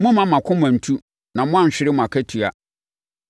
Mommma mo akoma nntu na moanhwere mo akatua.